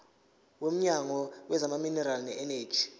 womnyango wezamaminerali neeneji